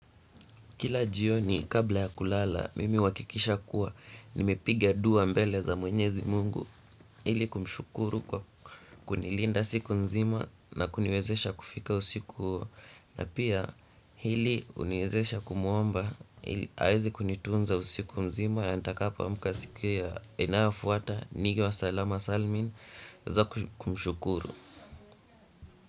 Kila jioni kabla ya kulala mimi uhakikisha kuwa nimepigia dua mbele za mwenyezi mungu ili kumshukuru kwa kunilinda siku nzima na kuniwezesha kufika usiku huo na pia hili huniwezesha kumuomba aweze kunitunza usiku mzima na nitakapoamka siku inayofuata niwe salama salmin za kumshukuru.